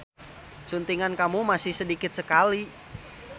Suntingan kamu masih sedikit sekali.